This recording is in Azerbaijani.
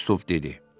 Kristof dedi: